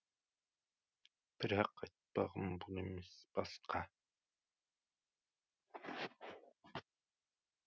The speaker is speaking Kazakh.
бірақ айтпағым бұл емес басқа